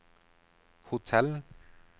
hotell